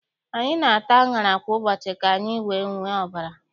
Anyị na-ata aṅara kwa ụbọchị ka anyị wee nwee ọbara.